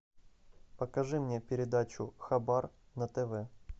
покажи мне передачу хабар на тв